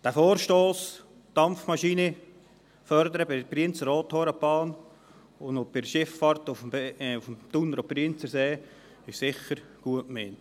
Der Vorstoss, Dampfmaschinen bei der Brienz-Rothorn-Bahn und bei der Schifffahrt auf dem Thuner- und Brienzersee zu fördern, ist sicher gut gemeint.